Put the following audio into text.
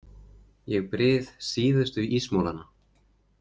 Ég bryð síðustu ísmolana.